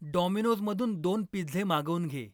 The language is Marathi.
डॉमिनोजमधून दोन पिझ्झे मागवून घे.